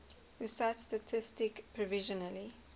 pusat statistik provisionally